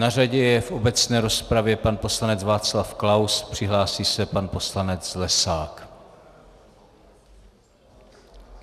Na řadě je v obecné rozpravě pan poslanec Václav Klaus, přihlásí se pan poslanec Zlesák.